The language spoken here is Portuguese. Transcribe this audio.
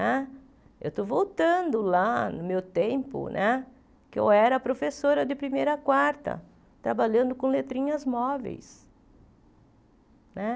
Né eu estou voltando lá no meu tempo, né que eu era professora de primeira a quarta, trabalhando com letrinhas móveis né.